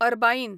Arbaeen